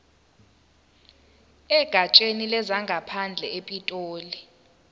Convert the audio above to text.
egatsheni lezangaphandle epitoli